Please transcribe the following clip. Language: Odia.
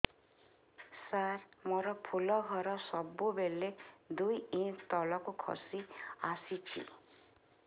ସାର ମୋର ଫୁଲ ଘର ସବୁ ବେଳେ ଦୁଇ ଇଞ୍ଚ ତଳକୁ ଖସି ଆସିଛି